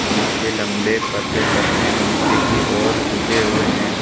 जिसके लम्बे पतले पत्ते निचे की ओर झुके हुएं है।